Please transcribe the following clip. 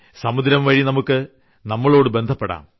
സമുദ്രംവഴി നമുക്കു നമ്മളോടുബന്ധപ്പെടാം